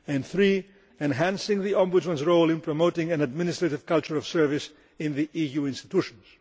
and third, enhancing the Ombudsman's role in promoting an administrative culture of service in the EU institutions.